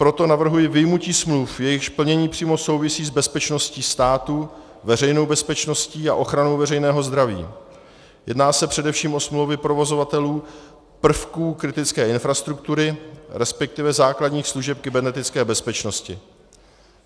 Proto navrhuji vyjmutí smluv, jejichž plnění přímo souvisí s bezpečností státu, veřejnou bezpečností a ochranou veřejného zdraví, jedná se především o smlouvy provozovatelů prvků kritické infrastruktury, respektive základních služeb kybernetické bezpečnosti.